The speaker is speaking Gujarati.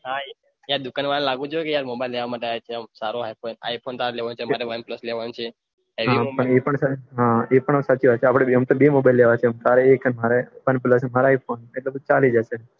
દુકાન વાળ લાગવું જોયી એ mobile લેવામાટે આવિયા છે તારે i phone લેવો છે મારે વન પલ્સ લેવો છે એ પન અપડા બન્ને ને બે mobile લેવા છે મારે i phone ચાલી જશે